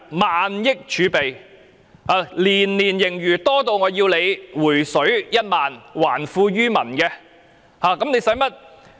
萬億儲備，年年盈餘，多得我要求政府"回水 "1 萬元，還富於民。